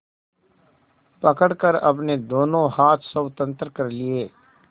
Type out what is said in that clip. पकड़कर अपने दोनों हाथ स्वतंत्र कर लिए